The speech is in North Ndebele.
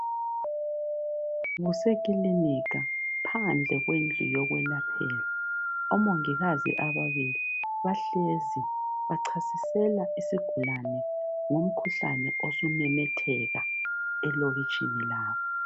Kusekilinika phandle kwendlu yokwelaphela omongikazi ababili bahlezi bachasisela isigulane ngomkhuhlane osumemetheka elokitshini labo.